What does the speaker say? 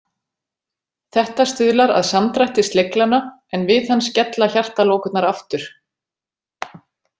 Þetta stuðlar að samdrætti sleglanna, en við hann skella hjartalokurnar aftur.